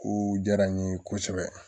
Ko diyara n ye kosɛbɛ